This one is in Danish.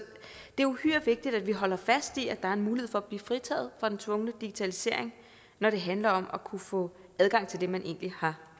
det er uhyre vigtigt at vi holder fast i at der er en mulighed for at blive fritaget fra den tvungne digitalisering når det handler om at kunne få adgang til det man egentlig har